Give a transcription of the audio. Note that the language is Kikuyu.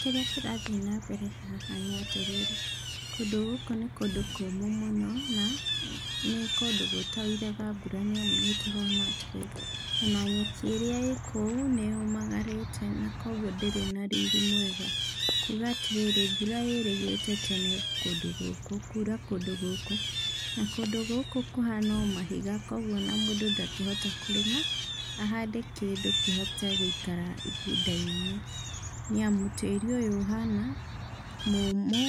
Kĩrĩa kĩrathiĩ na mbere haha nĩ atĩrĩrĩ, kũndũ gũkũ nĩ kũndũ kũmũ mũno, na nĩ kũndũ gũtoiraga mbura nĩamu nĩndĩrona atĩrĩrĩ, ona nyeki ĩrĩa ĩkũu nĩyũmagarĩte na kuoguo ndĩrĩ na riri mwega. Nguga atĩrĩrĩ, mbura yĩrĩgĩte tene kũndũ gũkũ kura kũndũ gũkũ. Na, kũndũ gũkũ kũhana o mahiga kuoguo mũndũ ndangĩhota kũrĩma ahande kĩndũ kĩhote gũikara ihinda inene, nĩamu tĩri ũyũ ũhana mũmũ,